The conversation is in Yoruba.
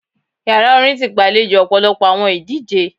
Yara orin ti gbalejo ọpọlọpọ awọn idije